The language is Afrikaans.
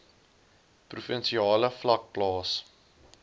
provinsiale vlak plaas